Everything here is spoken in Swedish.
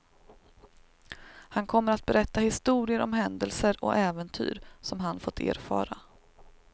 Han kommer att berätta historier om händelser och äventyr som han fått erfara.